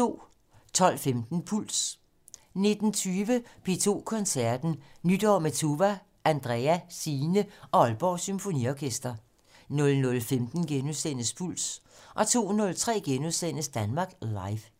12:15: Puls 19:20: P2 Koncerten - Nytår med Tuva, Andrea, Signe og Aalborg Symfoniorkester 00:15: Puls * 02:03: Danmark Live *